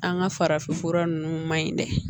An ka farafinfura nunnu ma ɲi dɛ